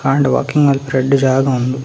ಕಾಂಡೆ ವಾಲ್ಕಿಂಗ್‌ ಮಾಲ್ಪೆರ ಎಡ್ಡೆ ಜಾಗ ಉಂದು.